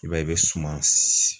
I b'a ye i bɛ suma